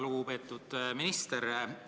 Väga lugupeetud minister!